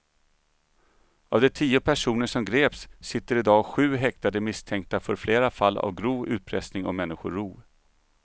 Av de tio personer som greps sitter i dag sju häktade misstänkta för flera fall av grov utpressning och människorov.